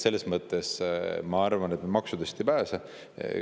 Seetõttu ma arvan, et me maksudest ei pääse.